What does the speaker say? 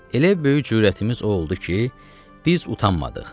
Elə böyük cürətimiz o oldu ki, biz utanmadıq.